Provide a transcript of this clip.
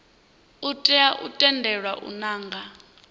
tea u tendelwa u nanga